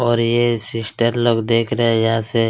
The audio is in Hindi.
और ये सिस्टर लोग देख रहे है यहाँ से -